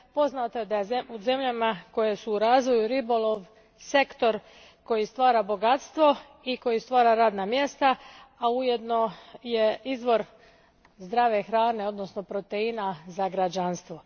Poznato je da je u zemljama koje su u razvoju ribolov sektor koji stvara bogatstvo i koji stvara radna mjesta, a ujedno je izvor zdrave hrane, odnosno proteina, za građanstvo.